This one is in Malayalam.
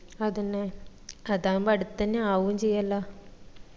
അതന്നെ അതാവുമ്പം അടുത്തന്നെ ആവും ചെയ്യല്ല